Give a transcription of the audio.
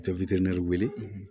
Tɛ wele